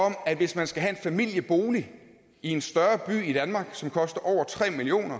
at hvis man skal have en familiebolig i en større by i danmark som koster over tre million